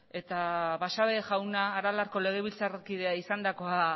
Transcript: eta basabe jauna aralarko legebiltzarkidea izandakoa